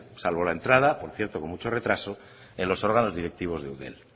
salvo la entrada por cierto con mucho retraso en los órganos directivos de eudel